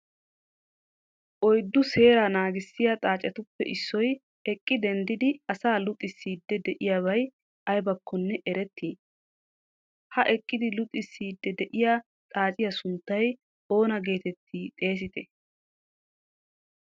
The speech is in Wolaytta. oyddu seeraa naaggissiya xaaccetuppe issoy eqqi denddidi asaa luxissiiddi de'iyobaay aybakkonne ereeti? ha eeqidi luxissiydi de'iya xaacciya sunttay oona geteetti xeesseti?